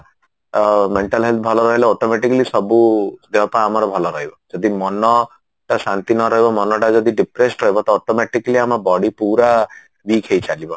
ଅ mental health ଭଲ ରହିଲେ automatically ସବୁ ଦେହ ପା ଆମର ଭଲ ରହିବ ଯଦି ମନ ଟା ଶାନ୍ତି ନରହିବ ମନଟା ଯଦି depressed ରହବ ତ automatically ଆମ body ପୁରା weak ହେଇଚାଲିବ